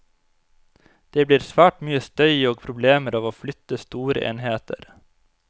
Det blir svært mye støy og problemer av å flytte store enheter.